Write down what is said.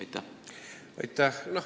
Aitäh!